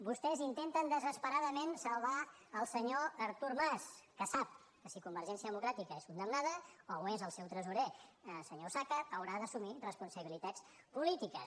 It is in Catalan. vostès intenten desesperadament salvar el senyor artur mas que sap que si convergència democràtica és condemnada o ho és el seu tresorer senyor osàcar haurà d’assumir responsabilitats polítiques